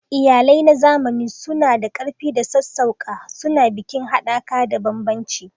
Iyalai na zamani suna da ƙarfi da sassauƙa, suna bikin haɗaka da bambancin.